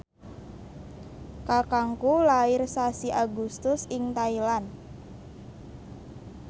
kakangku lair sasi Agustus ing Thailand